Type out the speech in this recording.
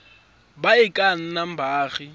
ba e ka nnang baagi